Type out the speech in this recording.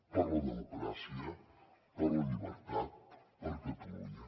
per la democràcia per la llibertat per catalunya